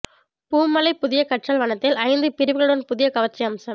பூமலை புதிய கற்றல் வனத்தில் ஐந்து பிரிவுகளுடன் புதிய கவர்ச்சி அம்சம்